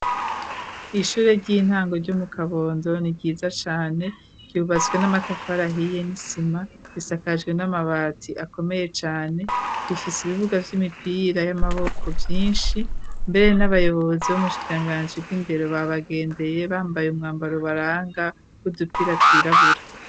Ishure ry'intango ryo mu kabondo ni ryiza cane ,ryubatswe n'amatafara ahiye ,n'isima ,risakajwe n'amabati akomeye cane ,rifis'ibibuga vy'imipira y'amaboko vyinshi ,mbere n'abayobozi bo m'ubushikiranganji bw'indero ba bagendeye ,bambaye umwambaro ubaranga n'udupira twirabura.